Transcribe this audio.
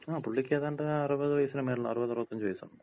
ങാ, പുള്ളിക്കേതാണ്ട് അറുപത് വയസ്സിന് മേലെ അറുപതഅറുപതഞ്ച് വയസൊണ്ട്.